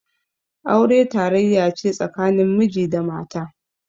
Aure tarayya ce tsakanin miji da mata.